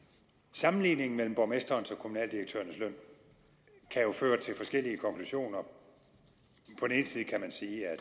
sammenligningen mellem borgmesterens og kommunaldirektørernes løn kan jo føre til forskellige konklusioner på den ene side kan man sige at